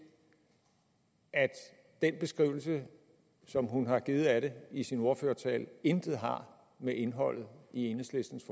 at den beskrivelse som hun har givet af det i sin ordførertale intet har med indholdet i enhedslistens